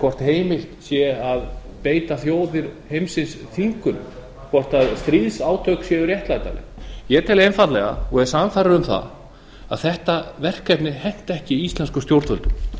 hvort heimilt sé að beita þjóðir heimsins þvingunum hvort stríðsátök séu réttlætanleg ég tel einfaldlega og er sannfærður um það að þetta verkefni henti ekki íslenskum stjórnvöldum